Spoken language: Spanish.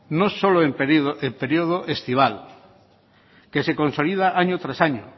no solo en periodo estival que se consolida año tras año